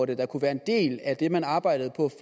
det der kunne være en del af det man arbejdede på